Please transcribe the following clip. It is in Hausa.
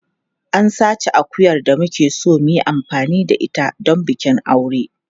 An sace akuyar da muke so mu yi amfani da ita don bikin aure.